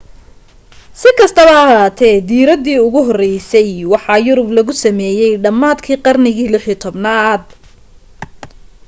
si kastaba ha ahaatee diiradii ugu horeysay waxa yurub lagu sameeyay dhammaadkii qarnigii 16aad